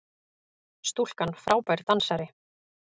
Stúlkan frábær dansari!